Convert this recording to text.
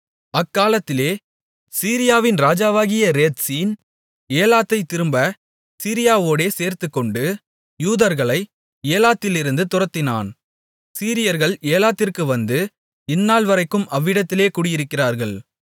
அக்காலத்திலே சீரியாவின் ராஜாவாகிய ரேத்சீன் ஏலாத்தைத் திரும்பச் சீரியாவோடே சேர்த்துக்கொண்டு யூதர்களை ஏலாத்திலிருந்து துரத்தினான் சீரியர்கள் ஏலாத்திற்கு வந்து இந்நாள்வரைக்கும் அவ்விடத்திலே குடியிருக்கிறார்கள்